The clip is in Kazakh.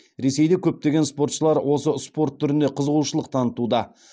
ресейде көптеген спортшылар осы спорт түріне қызығушылық танытуда